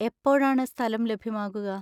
എപ്പോഴാണ് സ്ഥലം ലഭ്യമാകുക?